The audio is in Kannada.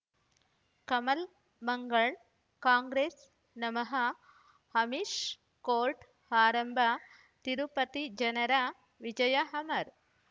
ಕಮಲ್ ಮಂಗಳ್ ಕಾಂಗ್ರೆಸ್ ನಮಃ ಅಮಿಷ್ ಕೋರ್ಟ್ ಆರಂಭ ತಿರುಪತಿ ಜನರ ವಿಜಯ ಅಮರ್